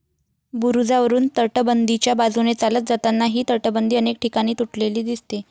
बुरुजावरून तटबंदीच्या बाजूने चालत जातांना ही तटबंदी अनेक ठिकाणी तुटलेली दिसते.